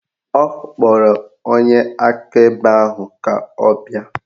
Ọ kpọrọ onye akaebe ahụ ka ọ bịa